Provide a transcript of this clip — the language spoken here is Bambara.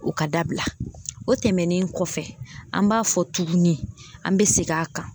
O ka dabila o tɛmɛnen kɔfɛ an b'a fɔ tuguni an bɛ segin a kan.